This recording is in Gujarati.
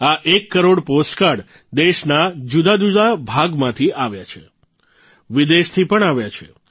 આ એક કરોડ પોસ્ટકાર્ડ દેશના જુદાજુદા ભાગમાંથી આવ્યા છે વિદેશથી પણ આવ્યા છે